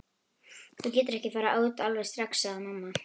Þú getur ekki farið út alveg strax, sagði mamma.